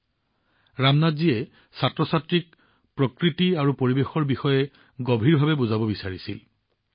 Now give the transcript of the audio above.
আচলতে ৰামনাথ জীয়ে ছাত্ৰছাত্ৰীক প্ৰকৃতি আৰু পৰিবেশৰ বিষয়ে গভীৰভাৱে বুজাব বিচাৰিছিল